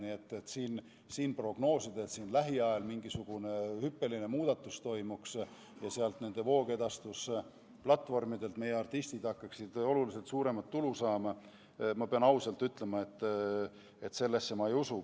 Nii et siin prognoosida, et lähiajal toimub mingisugune hüppeline muudatus ja meie artistid hakkaksid voogedastusplatvormidelt oluliselt suuremat tulu saama – ma pean ausalt tunnistama, et sellesse ma ei usu.